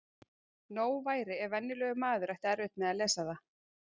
Nóg væri ef venjulegur maður ætti erfitt með að lesa það.